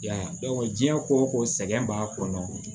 I y'a ye diɲɛ ko ko sɛgɛn b'a kɔnɔ